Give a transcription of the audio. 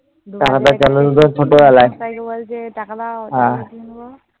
বলছে টাকা দাও, কিনব।